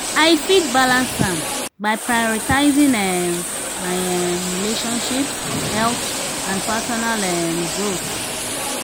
i fit balance am by prioritizing um my um relationships health and personal um growth.